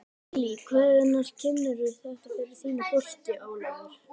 Lillý: Hvenær kynnirðu þetta fyrir þínu fólki, Ólafur?